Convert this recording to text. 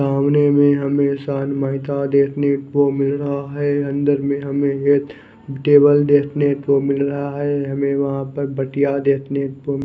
सामने में हमे देखने को मिल रहा है अंदर में हमे एक टेबल देखने को मिल रहा है हमे वहा पर बटिया देखने को --